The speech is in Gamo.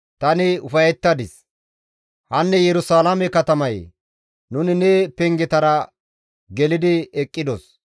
Hanne Yerusalaame katamayee! Nuni ne pengetara gelidi eqqidos.